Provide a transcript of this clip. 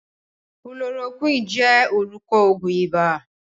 Kulorokúwìnì jẹ́ orúkọ Ògùn iba